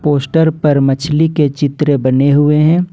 Post पर मछली के चित्र बने हुए हैं।